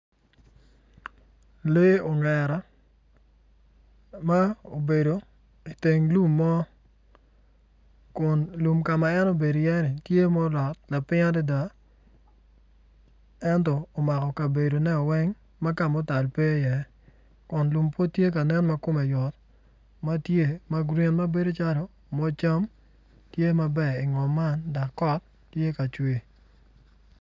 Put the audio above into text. Lee ongera ma obedo i teng lum mo kun lum kama en obedo i ye ni tye ma olot ma ping adada ento omako kabedo ne oweng ma kama otal pe i ye kun lum pud tye ka nen ma kome yot matye magreen mabedo calo ma cam tye maber i ngom man dok kot tye ka cwer.